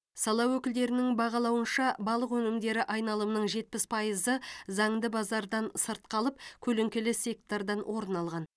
сала өкілдерінің бағалауынша балық өнімдері айналымының жетпіс пайызы заңды базардан сырт қалып көлеңкелі сектордан орын алған